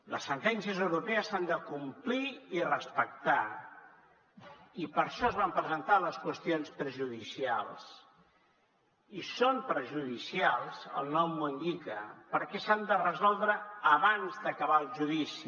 les sentències europees s’han de complir i respectar i per això es van presentar les qüestions prejudicials i són prejudicials el nom ho indica perquè s’han de resoldre abans d’acabar el judici